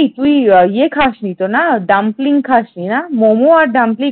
এই তুই ইয়ে খাসনি তো না ডাম্পলিং খাসনি না মোমো আর ডাম্পলিং